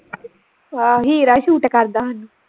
ਆਹ ਹੀਰਾ ਹੀ ਸੂਟ ਕਰਦਾ ਹਾਨੂੰ